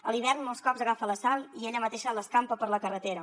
a l’hivern molts cops agafa la sal i ella mateixa l’escampa per la carretera